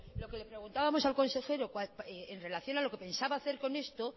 lo que le preguntábamos al consejero en relación a lo que pensaba hacer con esto